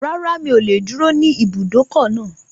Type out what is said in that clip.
Rárá, mi ò lè dúró ní ibùdókọ̀ náà